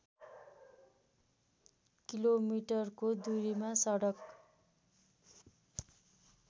किलोमिटरको दुरीमा सडक